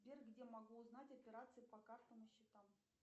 сбер где могу узнать операции по картам и счетам